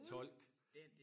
Fuldstændig